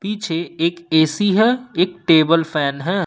पीछे एक ए_सी है एक टेबल फैन है।